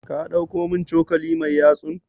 Ka ɗauko min cokali mai yatsun?